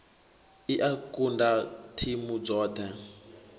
i a kunda thimu dzoḓhe